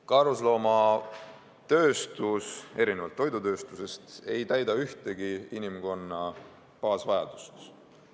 Karusnahatööstus erinevalt toidutööstusest ei täida ühtegi inimkonna põhivajadust.